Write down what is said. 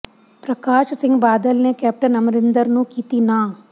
ਪ੍ਰਕਾਸ਼ ਸਿੰਘ ਬਾਦਲ ਨੇ ਕੈਪਟਨ ਅਮਰਿੰਦਰ ਨੂੰ ਕੀਤੀ ਨਾਂਹ